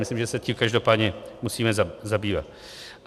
Myslím, že se tím každopádně musíme zabývat.